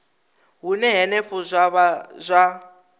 hune henefho zwa vha zwa